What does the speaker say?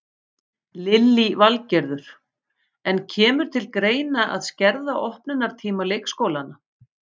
Lillý Valgerður: En kemur til greina að skerða opnunartíma leikskólana?